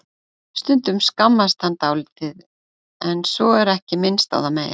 Stundum skammast hann dálítið en svo er ekki minnst á það meir.